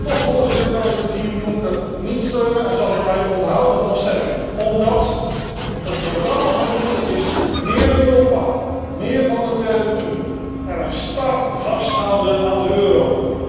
Toch, Voorzitter, kan ik het team Juncker niet steunen en zal ik mij onthouden van stemming, omdat het programma van de heer Juncker meer Europa, meer monetaire unie en een star vasthouden aan de euro is.